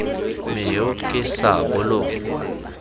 me yo ke sa bolong